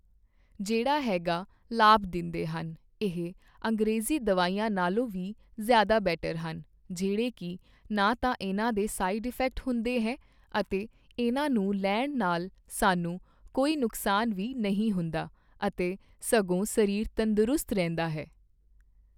ਜਿਹੜਾ ਹੈਗਾ ਲਾਭ ਦਿੰਦੇਹਨ ਇਹ ਅੰਗਰੇਜ਼ੀ ਦਵਾਈਆਂ ਨਾਲੋਂ ਵੀ ਜ਼ਿਆਦਾ ਬੈਟਰ ਹਨ ਜਿਹੜੇ ਕੀ ਨਾ ਤਾਂ ਇਹਨਾਂ ਦੇ ਸਾਈਡ ਇਫੈਕਟ ਹੁੰਦੇ ਹੈ ਅਤੇ ਇਹਨਾਂ ਨੂੰ ਲੈਣ ਨਾਲ ਸਾਨੂੰ ਕੋਈ ਨੁਕਸਾਨ ਵੀ ਨਹੀਂ ਹੁੰਦਾ ਅਤੇ ਸਗੋਂ ਸਰੀਰ ਤੰਦਰੁਸਤ ਰਹਿੰਦਾ ਹੈ